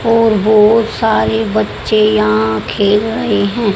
और बहोत सारे बच्चे यहां खेल रहे हैं।